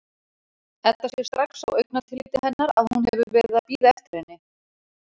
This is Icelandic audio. Edda sér strax á augnatilliti hennar að hún hefur verið að bíða eftir henni.